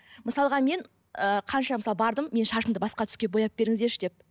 мысалға мен ы қанша мысалы бардым менің шашымды басқа түске бояп беріңіздерші деп